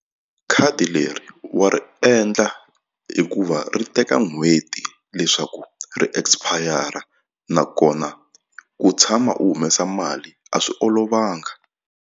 Khadi leri wa ri endla hikuva ri teka n'hweti leswaku ri expire nakona u tshama u humesa mali a swi olovanga.